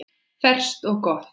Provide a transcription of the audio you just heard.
Ferskt og gott.